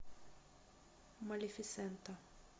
малефисента